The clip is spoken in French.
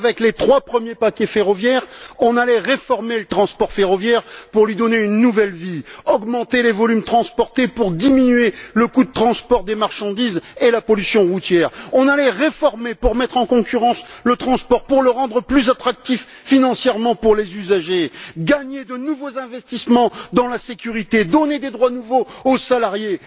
Avec les trois premiers paquets ferroviaires, on allait réformer le transport ferroviaire pour lui donner une nouvelle vie, augmenter les volumes transportés pour diminuer le coût de transport des marchandises et la pollution routière on allait réformer pour mettre en concurrence le transport, pour le rendre plus attractif financièrement pour les usagers, gagner de nouveaux investissements dans la sécurité, donner des droits nouveaux aux salariés.